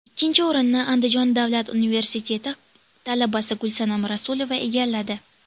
Ikkinchi o‘rinni Andijon Davlat universiteti talabasi Gulsanam Rasulova egalladi.